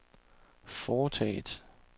foretaget